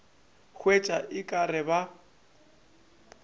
hwetša o ka re ba